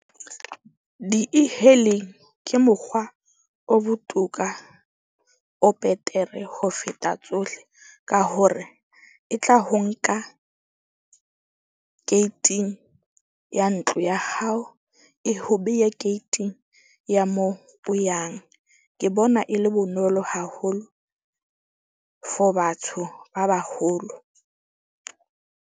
Di-E-hailing ke mokgwa o botoka, o betere ho feta tsohle, ka hore e tla ho nka gate-ing ya ntlo ya hao. E ho behe gate-ing ya moo o yang. Ke bona e le bonolo haholo for batho ba baholo.